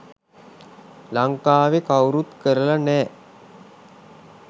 ලංකාවේ කවුරුත් කරල නෑ.